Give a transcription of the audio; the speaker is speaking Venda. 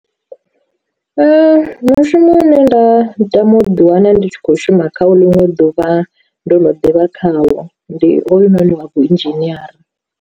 Mushumo une nda tama u ḓi wana ndi tshi kho shuma khayo ḽiṅwe ḓuvha ndo no ḓivha khawo ndi hoyunoni wa vhu nzhiniera.